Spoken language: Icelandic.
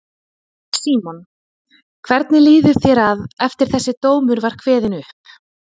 Símon: Hvernig líður þér að, eftir að þessi dómur var kveðinn upp?